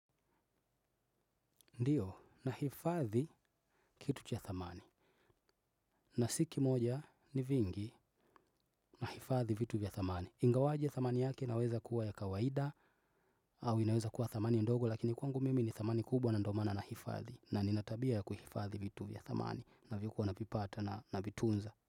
Ndiyo, nahifadhi kitu cha thamani. Na si kimoja, ni vingi na hifadhi vitu vya thamani. Ingawaje thamani yake inaweza kuwa ya kawaida au inaweza kuwa thamani ndogo lakini kwangu mimi ni thamani kubwa na ndo maana na hifadhi. Na nina tabia ya kuhifadhi vitu vya thamani na vikuwa navipata na vitunza.